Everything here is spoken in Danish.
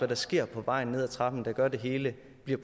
der sker på vej ned ad trappen der gør at det hele